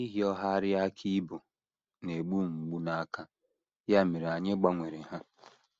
Ịhịọgharị aka ibo na - egbu m mgbu n’aka, ya mere anyị gbanwere ha.